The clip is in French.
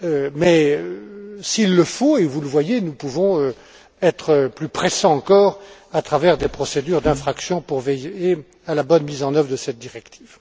Mais s'il le faut, et vous le voyez, nous pouvons être plus pressants encore à travers des procédures d'infraction pour veiller à la bonne mise en œuvre de cette directive.